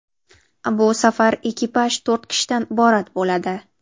Bu safar ekipaj to‘rt kishidan iborat bo‘ladi.